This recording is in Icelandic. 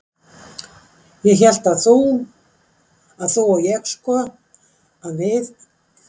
En ég hélt að þú. að þú og ég sko. að við